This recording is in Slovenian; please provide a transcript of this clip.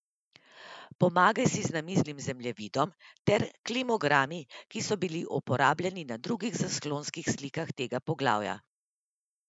Pomagaj si z namiznim zemljevidom ter klimogrami, ki so bili uporabljeni na drugih zaslonskih slikah tega poglavja.